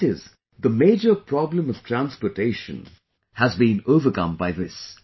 That is, the major problem of transportation has been overcome by this